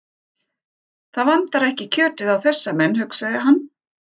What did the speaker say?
Það vantar ekki kjötið á þessa menn, hugsaði hann.